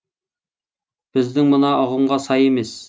біздің мына ұғымға сай емес